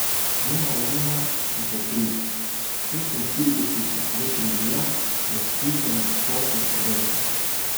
Njena ramena so se pri šestinštiridesetih že krivila v sključeno starčevsko držo.